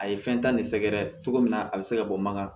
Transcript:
A ye fɛn ta ni sɛgɛrɛ cogo min na a bɛ se ka bɔ mankan